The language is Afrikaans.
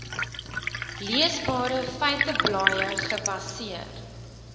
leesbare feiteblaaie gebaseer